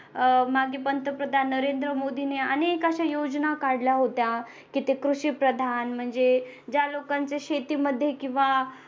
अह मागे पंतप्रधान नरेंद्र मोदी ने अनेक अशा योजना काढल्या होत्या कि ते कृषिप्रधान म्हणजे ज्या लोकांच्या शेतीमध्ये किंवा